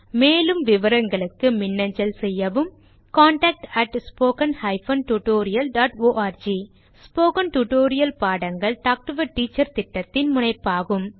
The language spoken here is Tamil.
மேலும் விவரங்களுக்கு மின்னஞ்சல் செய்யவும் contactspoken tutorialorg ஸ்போகன் டுடோரியல் பாடங்கள் டாக் டு எ டீச்சர் திட்டத்தின் முனைப்பாகும்